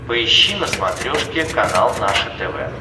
поищи на смотрешке канал наше тв